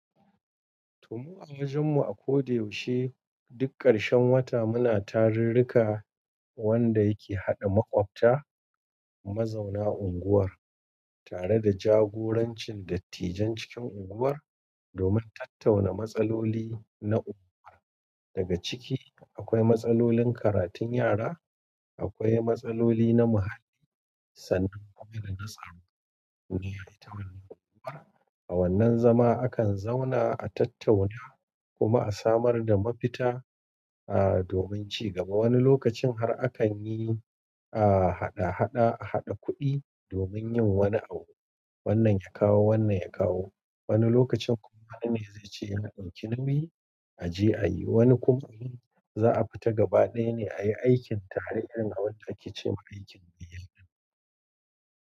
To mu a wajen mu a ko da yaushe duk ƙarshen wata muna tarurruka wanda yake haɗa maƙwabta mazauna unguwar tare da jagorancin dattijan cikin unguwar domin tattauna matsaloli na unguwa daga ciki akwai matsalolin karatun yara akwai matsaloli na muhalli sannan kuma na tsaro domin ita wannan unguwar a wannan zama akan zauna a tattauna kuma a samar da mafita, ah, domin cigaba. Wani lokacin har akan yi, ah, haɗa-haɗa, a haɗa kuɗi domin yin wani abu. Wannan ya kawo, wannan ya kawo. Wani lokacin kuma wani ne zai ce in na ɓarke nubi a je a yi. Wani kuma za a fita gaba ɗaya ne a yi aikin tare irin abun da ake cewa aikin gayya.